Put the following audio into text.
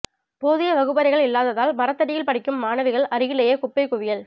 போதிய வகுப்பறைகள் இல்லாததால் மரத்தடியில் படிக்கும் மாணவிகள் அருகிலேயே குப்பை குவியல்